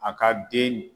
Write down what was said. A ka den